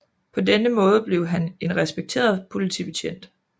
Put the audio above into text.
På denne måde blev han en respekteret politibetjent